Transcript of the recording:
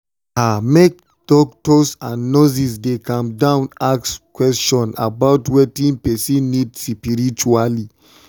ah make doctors and nurses dey calm down ask question about about wetin person need spritually.